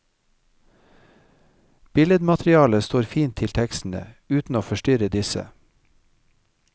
Billedmaterialet står fint til tekstene, uten å forstyrre disse.